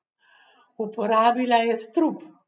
Uporabila je strup.